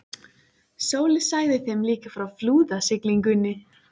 Sóley sagði þeim líka frá flúðasiglingunni.